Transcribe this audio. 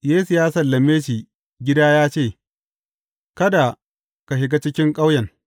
Yesu ya sallame shi gida ya ce, Kada ka shiga cikin ƙauyen.